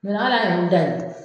ala y'u da yen